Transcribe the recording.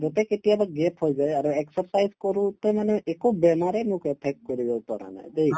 তে কেতিয়াবা gap হৈ যায় আৰু exercise কৰোতে মানে একো বেমাৰে মোক affect কৰিব পৰা নাই দেই